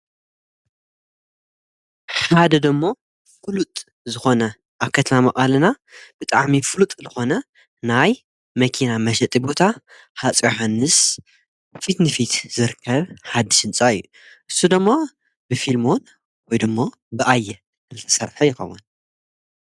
ኻደ ደ ሞ ፍሉጥ ዝኾነ ኣብ ከትማ መቓልና ብጥዓሚ ፍሉጥ ልኾነ ናይ መኪና መሸጢ ቦታ ሓፀዮሐንስ ፊትኒፊት ዝርከብ ሓድ ሽንጻ እዩ እሱዶሞ ብፊልሞን ወይድሞ ብኣየ እልተሠርሐ የኸበን።